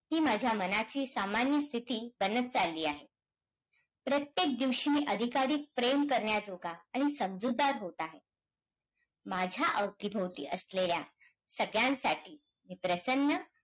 मित्रांनो शेतकरी नसता तर शहरातल्या लोकांचा काय झालं असतं